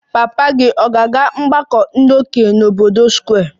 Papa gị ọ̀ ga-aga ọgbako ndi okenye n'obodo Square?